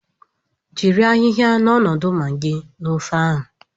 Jiri ayiya n'ọnọdụ magịị na ofe.